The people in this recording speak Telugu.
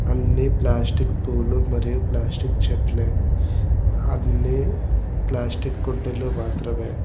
అన్ని ప్లాస్టిక్ పూలు మరియు ప్లాస్టిక్ చెట్లే అన్ని ప్లాస్టిక్ కుండీలు మాత్రమే.